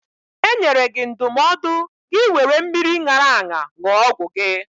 E nyere gị ndụmọdụ gị wéré mmiri ṅara aṅa ṅụọ ọgwụ gị